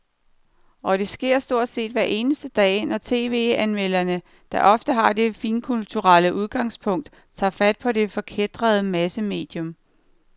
Og det sker stort set hver eneste dag, når tv-anmelderne, der ofte har det finkulturelle udgangspunkt, tager fat på det forkætrede massemedium.